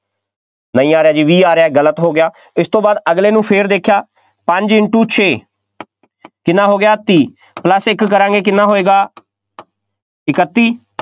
ਨਹੀਂ ਆ ਰਿਹਾ ਜੀ, ਵੀਹ ਆ ਰਿਹਾ ਗਲਤ ਹੋ ਗਿਆ, ਇਸ ਤੋਂ ਬਾਅਦ ਅਗਲੇ ਨੂੰ ਫੇਰ ਦੇਖਿਆ ਪੰਜ into ਛੇ ਕਿੰਨਾ ਹੋ ਗਿਆ ਤੀਹ plus ਇੱਕ ਕਰਾਂਗੇ ਕਿੰਨਾ ਹੋਏਗਾ ਇਕੱਤੀ,